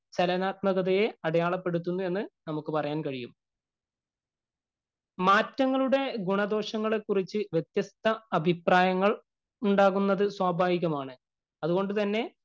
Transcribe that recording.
ചലനാത്മകതയെ അടയാളപ്പെടുത്തുന്നു എന്ന് നമുക്ക് പറയാന്‍ കഴിയും. മാറ്റങ്ങളുടെ ഗുണ ദോഷത്തെ കുറിച്ച് വ്യത്യസ്ത അഭിപ്രായങ്ങള്‍ ഉണ്ടാകുന്നത് സ്വഭാവികമാണ്. അതുകൊണ്ട് തന്നെ